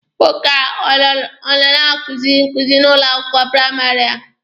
Nwoke a ọ na-akuzi nkuzi n'ụlọ akwụkwọ praịmarị a?